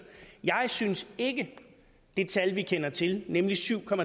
jeg synes ikke at det tal vi kender til nemlig syv